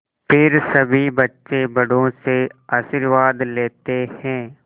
फिर सभी बच्चे बड़ों से आशीर्वाद लेते हैं